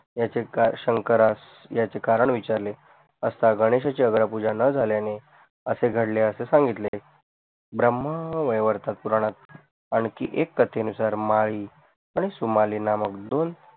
याचे कार शंकरास याचे कारण विचारले असतं गणेश पूजा न झाल्याने असे घडले असे सांगितले ब्रह्म वेवरतपूरणात आणखी एक कथे नुसार माळी आणि सुमाली नामक दोन